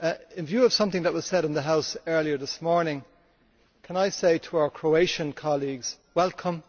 In view of something that was said in the House earlier this morning, can I say to our Croatian colleagues welcome.